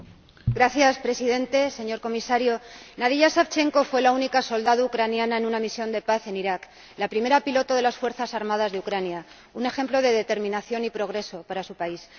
Señor Presidente, señor Comisario. Nadiya Savchenko fue la única soldado ucraniana en una misión de paz en Irak, la primera piloto de las fuerzas armadas de Ucrania, un ejemplo de determinación y progreso para su país.